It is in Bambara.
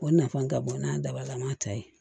O nafa ka bon n'a daba la an b'a ta ye